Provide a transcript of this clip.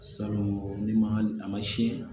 Salon n'i ma a ma sin